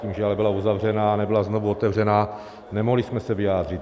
Tím ale, že byla uzavřena a nebyla znovu otevřena, nemohli jsme se vyjádřit.